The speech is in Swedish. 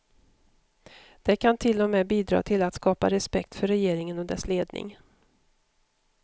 Det kan till och med bidra till att skapa respekt för regeringen och dess ledning.